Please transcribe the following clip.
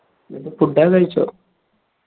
ന്നീട്ട് food ഒക്കെ കഴിച്ചോ